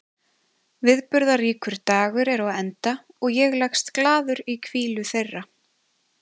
Viðburðaríkur dagur er á enda og ég leggst glaður í hvílu þeirra.